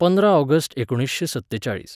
पंदरा ऑगस्ट एकुणीसशें सत्तेचाळीस